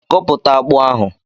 Koputa akpu ahu